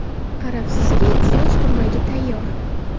Qarabsizki, soch turmagi tayyor.